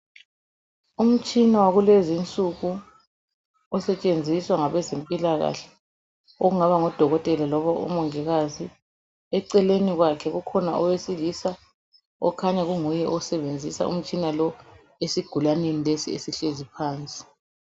Umtshina wakulezinsuku osetshenziswa ngabezempilakahle ongaba ngodokotela loba umongikazi eceleni kwakhe kukhona owesilisa okhanya kunguye osebenzisa umtshina lo esigulaneni lesi esihlezi phansi.